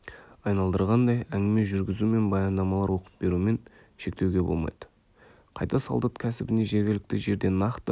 айналдырғандай әңгіме жүргізу мен баяндамалар оқып берумен шектеуге болмайды қайта солдат кәсібіне жергілікті жерде нақты